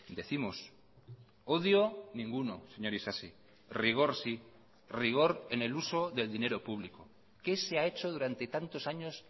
décimos odio ninguno señor isasi rigor sí rigor en el uso del dinero público qué se ha hecho durante tantos años